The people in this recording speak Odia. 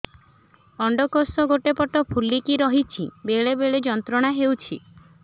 ଅଣ୍ଡକୋଷ ଗୋଟେ ପଟ ଫୁଲିକି ରହଛି ବେଳେ ବେଳେ ଯନ୍ତ୍ରଣା ହେଉଛି